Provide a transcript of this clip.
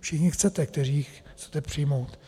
všichni chcete, kteří ji chcete přijmout.